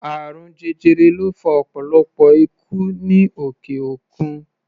Àrùn jẹjẹrẹ ló fa ọ̀pọ̀lọpọ̀ ikú ní òkè-òkun.